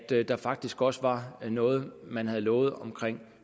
at der faktisk også var noget man havde lovet om